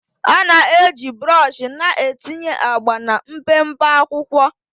A na-eji brọsh na-etinye agba na mpempe akwụkwọ